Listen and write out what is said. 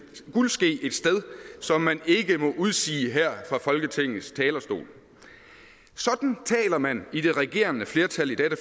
guldske et sted som man ikke må udsige her fra folketingets talerstol sådan taler man i det regerende flertal i dette